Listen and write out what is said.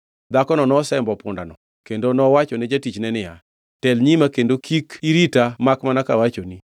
Dhakono nosembo pundano kendo nowachone jatichne niya, “Tel nyima kendo kik irita makmana kawachoni.”